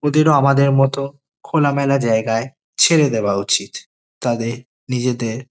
ওদেরও আমাদের মতো খোলামেলা জায়গায় ছেড়ে দেওয়া উচিত। তাদের নিজেদের --